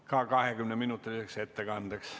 Ka 20-minutiline ettekanne.